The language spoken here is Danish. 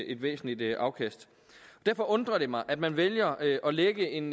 et væsentligt afkast derfor undrer det mig at man vælger at lægge en